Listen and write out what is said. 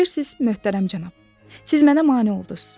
Bilirsiz, möhtərəm cənab, siz mənə mane olduz.